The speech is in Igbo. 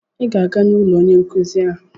Ị ga-aga n'ụlọ onye nkụzi ahụ!